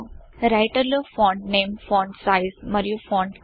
writer లో font name font size మరియు font colour